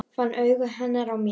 Fann augu hennar á mér.